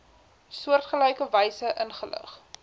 soortgelyke wyse ingelig